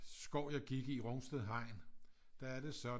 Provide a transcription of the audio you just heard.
Skov jeg gik i Rungsted Hegn der er det sådan